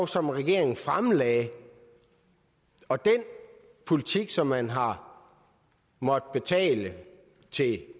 som regeringen fremlagde og den politik som man har måttet betale